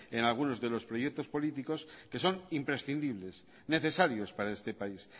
en algunos de los proyectos políticos que son imprescindibles necesarios para este país